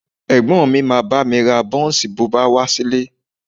Ẹ̀gbọ́n mi máa bá mi ra bọ́ńsì bọ̀ wá sílé